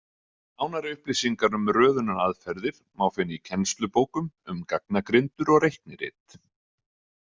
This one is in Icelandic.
Nánari upplýsingar um röðunaraðferðir má finna í kennslubókum um gagnagrindur og reiknirit.